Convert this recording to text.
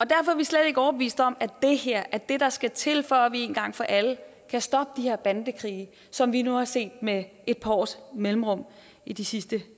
derfor er vi slet ikke overbevist om at det her er det der skal til for at vi en gang for alle kan stoppe de her bandekrige som vi nu har set med et par års mellemrum i de sidste